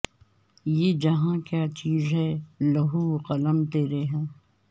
یہ جہاں کیا چیز ہے لوح وقلم تیرے ہیں